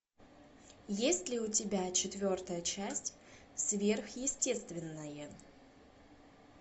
есть ли у тебя четвертая часть сверхъестественное